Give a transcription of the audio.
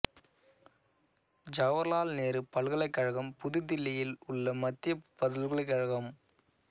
ஜவகர்லால் நேரு பல்கலைக் கழகம் புது தில்லியில் உள்ள மத்திய பல்கலைக் கழகம்